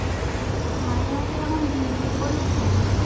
মাঝে মাঝে এরকম বিড়বিড় করিস কেন?